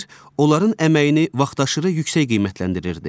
onların əməyini vaxtaşırı yüksək qiymətləndirirdi.